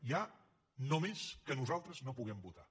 hi ha només que nosaltres no puguem votar